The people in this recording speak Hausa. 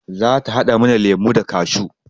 Za ta haɗa mana lemo da kashew